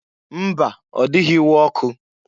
Mba! Ọ dịghị iwe ọkụ.